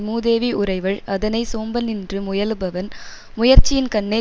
மூதேவி உறைவள் அதனை சோம்பலின்று முயலுபவன் முயற்சியின்கண்ணே